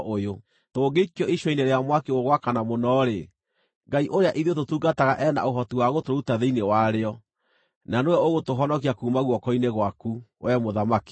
Tũngĩikio icua-inĩ rĩa mwaki ũgwakana mũno-rĩ, Ngai ũrĩa ithuĩ tũtungataga e na ũhoti wa gũtũruta thĩinĩ warĩo, na nĩwe ũgũtũhonokia kuuma guoko-inĩ gwaku, wee mũthamaki.